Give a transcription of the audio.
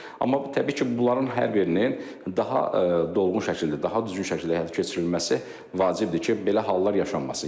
Amma təbii ki, bunların hər birinin daha dolğun şəkildə, daha düzgün şəkildə həyata keçirilməsi vacibdir ki, belə hallar yaşanmasın.